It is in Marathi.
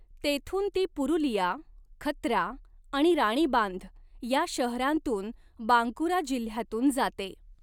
तेथून ती पुरुलिया, खत्रा आणि राणीबांध या शहरांतून बांकुरा जिल्ह्यातून जाते.